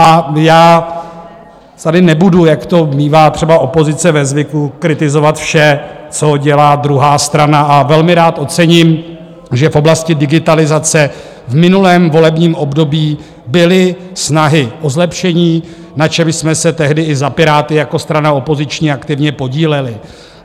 A já tady nebudu, jak to mívá třeba opozice ve zvyku, kritizovat vše, co dělá druhá strana, a velmi rád ocením, že v oblasti digitalizace v minulém volebním období byly snahy o zlepšení, na čemž jsme se tehdy i za Piráty jako strana opoziční aktivně podíleli.